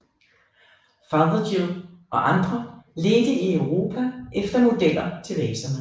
Fothergill og andre ledte i Europa efter modeller til vaserne